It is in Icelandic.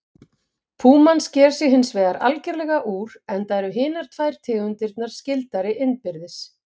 Púman sker sig hins vegar algerlega úr enda eru hinar tvær tegundirnar skyldari innbyrðis.